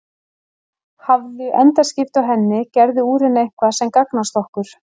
Hafðu endaskipti á henni, gerðu úr henni eitthvað sem gagnast okkur.